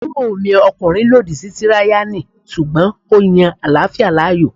Àbúròmi ọkùnrin lòdì sí tíráyánì sùgbọ́n ó yan àláfíà láàyò